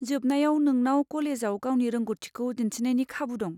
जोबनायाव नोंनाव कलेजाव गावनि रोंग'थिखौ दिन्थिनायनि खाबु दं।